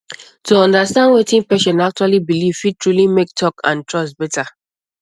to understand wetin patient actually believe fit truly make talk and trust better